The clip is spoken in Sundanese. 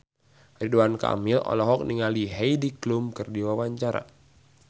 Ridwan Kamil olohok ningali Heidi Klum keur diwawancara